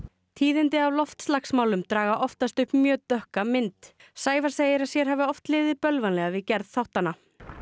tíðindi af loftslagsmálum draga oftast upp mjög dökka mynd Sævar segir að sér hafi oft liðið bölvanlega við gerð þáttanna